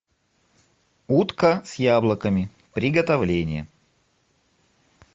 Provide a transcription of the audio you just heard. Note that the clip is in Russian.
утка с яблоками приготовление